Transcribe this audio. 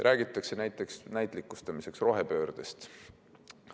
Näitlikustamiseks räägitakse rohepöördest.